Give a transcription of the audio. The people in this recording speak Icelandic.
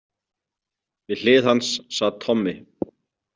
Við hlið hans sat Tommi.